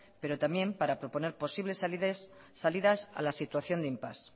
pero también para proponer posibles salidas a la situación de impás